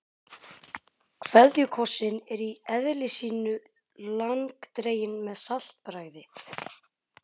KVEÐJUKOSSINN er í eðli sínu langdreginn með saltbragði.